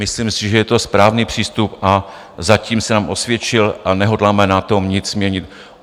Myslím si, že je to správný přístup, a zatím se nám osvědčil a nehodláme na tom nic měnit.